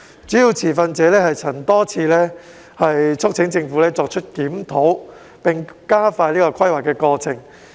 主要持份者曾多次促請政府作出檢討並加快規劃過程。